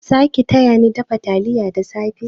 Zaki tayani dafa taliya da safe?